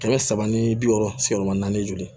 Kɛmɛ saba ni bi wɔɔrɔ sigiyɔrɔma naani joli